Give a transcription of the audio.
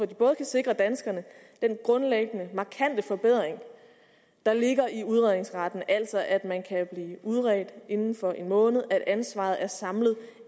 de både kan sikre danskerne den grundlæggende markante forbedring der ligger i udredningsretten altså at man kan blive udredt inden for en måned at ansvaret er samlet